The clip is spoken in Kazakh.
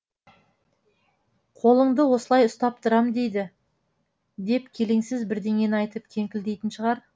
қолыңды осылай ұстап тұрам дейді деп келеңсіз бірдеңені айтып кеңкілдейтін шығар